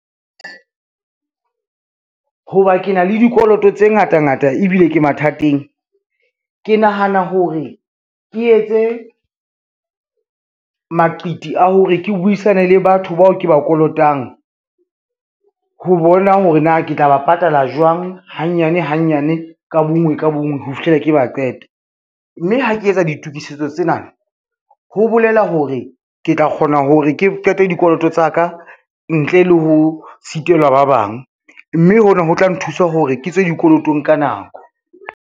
Ho ba ke na le dikoloto tse ngata ngata ebile ke mathateng. Ke nahana hore ke etse, maqiti a hore ke buisane le batho bao ke ba kolotang, ho bona hore na ke tla ba patala jwang hanyane hanyane ka bonngwe ka bonngwe ho fihlela ke ba qeta. Mme ha ke etsa ditokisetso tsena ho bolela hore ke tla kgona hore ke qete dikoloto tsa ka ntle le ho sitelwa ba bang, mme hona ho tla nthusa hore ke tswe dikolotong ka nako.